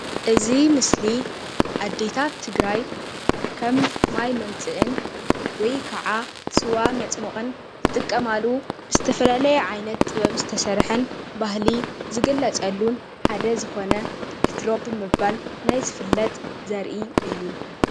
እዚ ምስሊ አዴታት ትግራይ ከም ማይ መምፅእን ወይ ከዓ ስዋ መፅመቁን ዝጥቀማሉ ዝተፈላለየ ዓይነት ጥበብ ዝተሰርሐን ባህሊ ዝግለፀሉን ሓደ ዝኮነ ዕትሮ ብምባል ናይ ዝፍለጥ ዘርኢ እዩ።